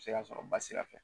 A bɛ se y'a sɔrɔ ba sira fɛ